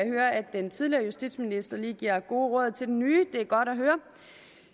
høre at den tidligere justitsminister lige giver gode råd til den nye det er godt at høre